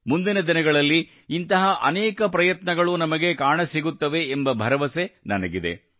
ಮುಂಬರುವ ದಿನಗಳಲ್ಲಿ ಇಂತಹ ಅನೇಕ ಪ್ರಯತ್ನಗಳು ನಮಗೆ ಕಾಣಸಿಗುತ್ತವೆ ಎಂಬ ಭರವಸೆ ನನಗಿದೆ